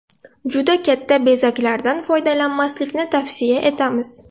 Juda katta bezaklardan foydalanmaslikni tavsiya etamiz.